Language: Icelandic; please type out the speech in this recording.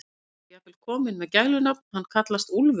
Hann er jafnvel kominn með gælunafn, hann kallast Úlfurinn.